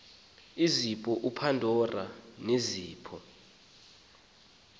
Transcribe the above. izipho upandora nezipho